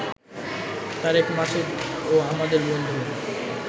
তারেক মাসুদ ও আমাদের বন্ধু